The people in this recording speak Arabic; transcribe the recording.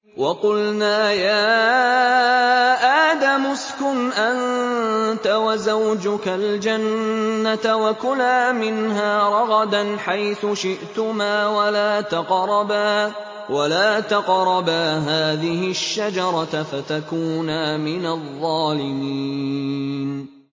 وَقُلْنَا يَا آدَمُ اسْكُنْ أَنتَ وَزَوْجُكَ الْجَنَّةَ وَكُلَا مِنْهَا رَغَدًا حَيْثُ شِئْتُمَا وَلَا تَقْرَبَا هَٰذِهِ الشَّجَرَةَ فَتَكُونَا مِنَ الظَّالِمِينَ